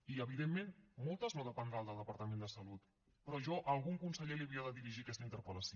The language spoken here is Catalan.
i evidentment moltes no dependran del departament de salut però jo a algun conseller li havia de dirigir aquesta interpel·lació